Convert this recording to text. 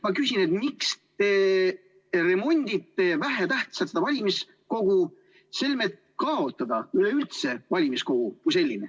Ma küsin, miks te remondite vähetähtsat valimiskogu, selmet kaotada üleüldse valimiskogu kui selline.